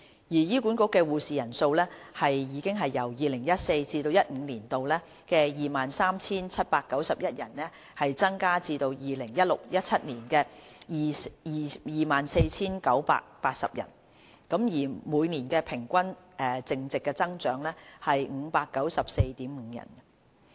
醫管局的護士人數已由 2014-2015 年度的 23,791 人增至 2016-2017 年度的 24,980 人，每年平均淨增長為 594.5 人。